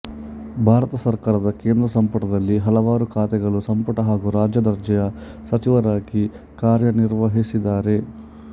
ಭಾರತ ಸರ್ಕಾರದ ಕೆಂದ್ರ ಸಂಪುಟದಲ್ಲಿ ಹಲವಾರು ಖಾತೆಗಳ ಸಂಪುಟ ಹಾಗೂ ರಾಜ್ಯ ದರ್ಜೆಯ ಸಚಿವರಾಗಿ ಕಾರ್ಯನಿರ್ವಹಿಸಿದ್ದಾರೆ